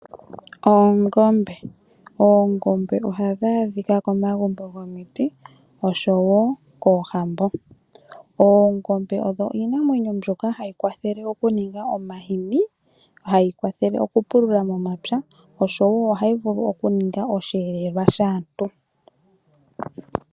Oongombe ohadhi adhika komagumbo gomiti osho woo koohambo. Oongombe odho iinamwenyo mbyoka hayi kwathele okuninga omahini, hayi kwathele okupulula momapya osho woo ohayi vulu okukiningila osheelelwa shaantu.